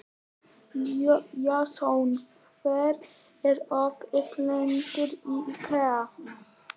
Jason, hvað er opið lengi í IKEA?